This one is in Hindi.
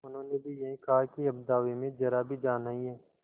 उन्होंने भी यही कहा कि अब दावे में जरा भी जान नहीं है